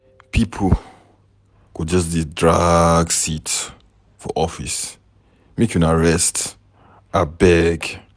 Pipo go just dey drag seat for office, make una rest abeg.